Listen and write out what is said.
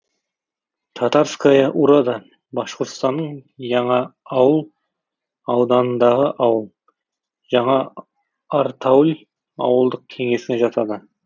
татарская урада башқұртстанның яңа ауыл ауданындағы ауыл жаңа артауль ауылдық кеңесіне жатады